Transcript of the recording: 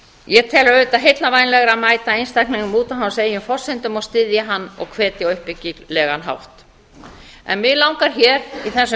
ég tel auðvitað heillavænlegra að mæta einstaklingnum út af hans eigin forsendum og styðja hann og hvetja á uppbyggilegan hátt mig langar hér í